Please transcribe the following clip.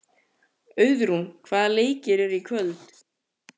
Auðrún, hvaða leikir eru í kvöld?